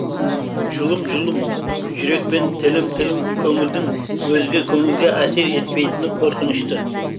жұлым жұлым жүрек пен тілім тілім көңілдің өзге көңілге әсер етпейтіні қорқынышты